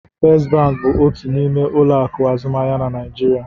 First bank bụ otu n'ime ụlọ akụ azụmaahịa na Naịjirịa.